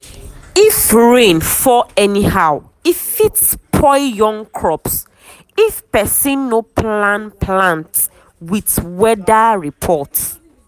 if rain fall anyhow e fit spoil young crops if person no plan plant with weather report.